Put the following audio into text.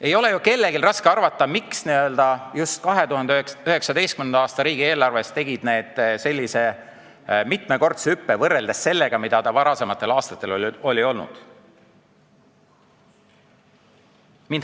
Ei ole ju kellelgi raske ära arvata, miks just 2019. aasta riigieelarves tegid need mitmekordse hüppe võrreldes sellega, mis need varasematel aastatel on olnud.